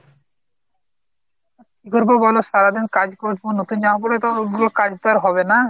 কি করবো বলো সারাদিন কাজ করব নতুন জামা পরে তো ওগুলো কাজ তো আর হবে না।